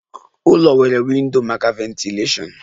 Ụlọ nwere windo maka ventilashion